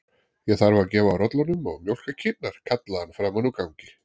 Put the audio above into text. Ég þarf að gefa rollunum og mjólka kýrnar, kallaði hann framan úr gangi.